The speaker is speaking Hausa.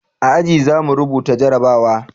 A aji za mu rubuta jarabawa